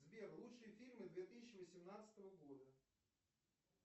сбер лучшие фильмы две тысячи восемнадцатого года